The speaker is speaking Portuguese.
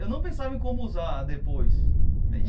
Eu não pensava em como usar depois e.